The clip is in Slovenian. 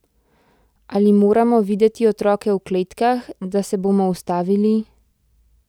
Ali moramo videti otroke v kletkah, da se bomo ustavili?